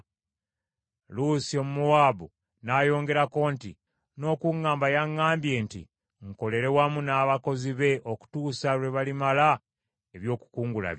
Luusi Omumowaabu n’ayongerako nti, “N’okuŋŋamba yaŋŋambye nti nkolere wamu n’abakozi be okutuusa lwe balimala eby’okukungula bye.”